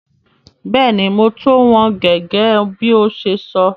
Bẹ́ẹ̀ni, mo tò wọn gẹ́gẹ́ bí o ṣe sọ.